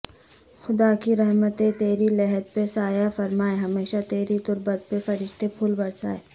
خدا کی رحمتیں تیری لحد پہ سایہ فرمائیں ہمیشہ تیری تربت پہ فرشتے پھول برسائیں